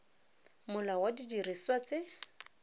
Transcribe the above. molao wa didiriswa tse